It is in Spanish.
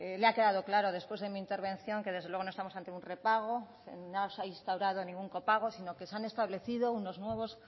le ha quedado claro después de mi intervención que desde luego no estamos ante un repago no se ha instaurado ningún copago sino que se han establecido unos nuevos